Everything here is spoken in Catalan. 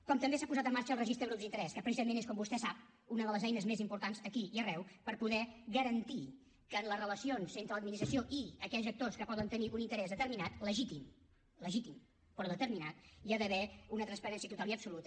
com també s’ha posat en marxa el registre de grups d’interès que precisament és com vostè sap una de les eines més importants aquí i arreu per poder garantir que en les relacions entre l’administració i aquells actors que poden tenir un interès determinat legítim legítim però determinat hi ha d’haver una transparència total i absoluta